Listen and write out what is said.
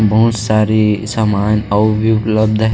बहुत सारी सामान और भी उपलब्ध है।